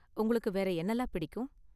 உங்களுக்கு வேற என்னலாம் பிடிக்கும்.